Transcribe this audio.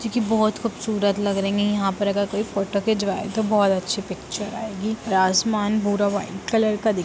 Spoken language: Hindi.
क्यूंकि बहोत खूबसूरत लग रही है यहाँ पर अगर कोई फोटो खिचवाएं तो बोहोत अच्छी पिक्चर आएगी| आर आसमान पूरा व्हाइट कलर का दिख--